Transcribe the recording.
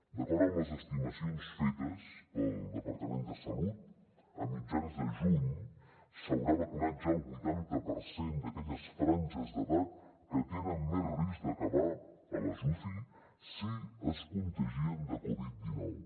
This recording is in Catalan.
d’acord amb les estimacions fetes pel departament de salut a mitjan juny s’haurà vacunat ja el vuitanta per cent d’aquelles franges d’edat que tenen més risc d’acabar a les ucis si es contagien de covid dinou